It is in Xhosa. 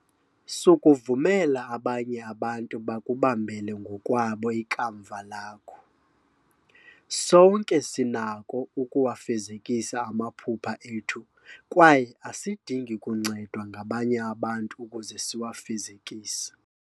Sukuvumela abanye abantu bakubambele ngokwabo ikamva lakho. Sonke sinako ukuwafezekisa amaphupha ethu kwaye asidingi kuncedwa ngabanye abantu ukuze siwafezekise.